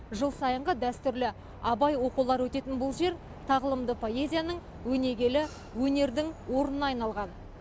жыл сайынғы дәстүрлі абай оқулары өтетін бұл жер тағылымды поэзияның өнегелі өнердің орнына айналған